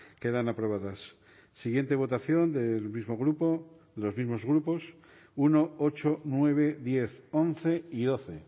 quedan aprobadas siguiente votación del mismo grupo los mismos grupos uno ocho nueve diez once y doce